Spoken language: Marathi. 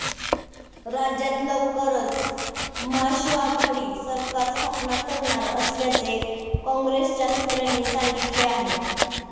राज्यात लवकरच महाशिवआघाडी सरकार स्थापन करणार असल्याचे काँग्रेसच्या सूत्रांनी सांगितले आहे